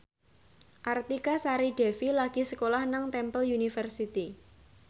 Artika Sari Devi lagi sekolah nang Temple University